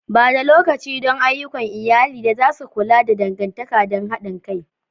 Ba da lokaci don ayyukan iyali da za su ƙulla dangantaka da haɗin kai.